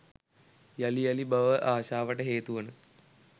යළි යළි භව ආශාවට හේතුවන